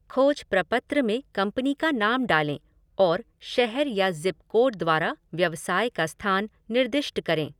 खोज प्रपत्र में कंपनी का नाम डालें और शहर या ज़िप कोड द्वारा व्यवसाय का स्थान निर्दिष्ट करें।